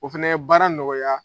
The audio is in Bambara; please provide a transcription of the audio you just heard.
O fɛnɛ ye baara nɔgɔya.